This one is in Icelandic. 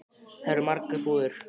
Þar eru margar búðir.